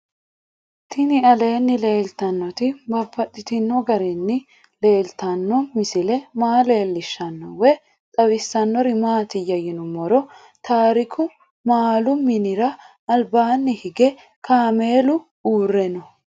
Tinni aleenni leelittannotti babaxxittinno garinni leelittanno misile maa leelishshanno woy xawisannori maattiya yinummoro tariku maalu minira alibbanni hige kaammelu uurre noo